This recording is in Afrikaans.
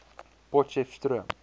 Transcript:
potcheftsroom